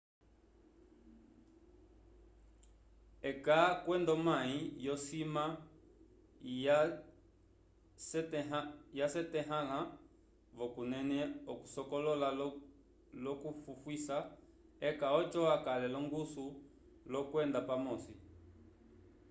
eka kwenda omayi yo sima ya syetahala vo kunene okusokolola loku fufuisa eka oco akale longuso lo kwenda pamosi